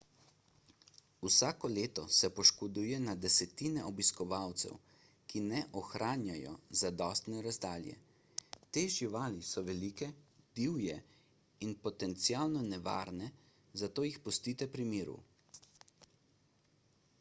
vsako leto se poškoduje na desetine obiskovalcev ker ne ohranjajo zadostne razdalje te živali so velike divje in potencialno nevarne zato jih pustite pri miru